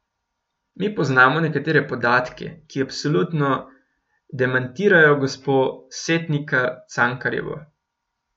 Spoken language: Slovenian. Mi poznamo nekatere podatke, ki absolutno demantirajo gospo Setnikar Cankarjevo.